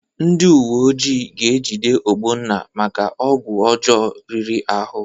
Ndị uweojii ga-ejide Ogbonna maka ọgwụ ọjọọ riri ahụ.